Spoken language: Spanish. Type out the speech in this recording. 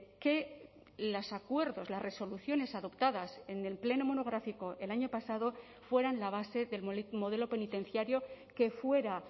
que los acuerdos las resoluciones adoptadas en el pleno monográfico el año pasado fueran la base del modelo penitenciario que fuera